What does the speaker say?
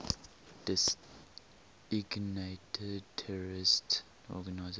designated terrorist organizations